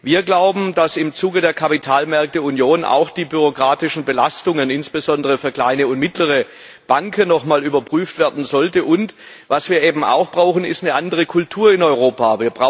Wir glauben, dass im Zuge der Kapitalmarktunion auch die bürokratischen Belastungen insbesondere für kleine und mittlere Banken nochmal überprüft werden sollten und was wir eben auch brauchen, ist eine andere Kultur in Europa.